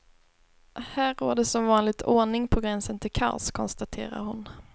Här råder som vanligt ordning på gränsen till kaos, konstaterar hon.